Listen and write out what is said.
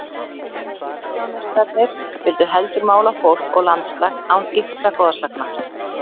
Impressjónistarnir vildu heldur mála fólk og landslag án ýktra goðsagna.